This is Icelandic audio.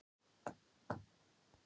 Heldurðu að ég trúi því ekki?